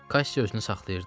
Kassi özünü saxlayırdı.